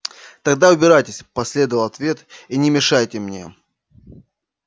тогда убирайтесь последовал ответ и не мешайте мне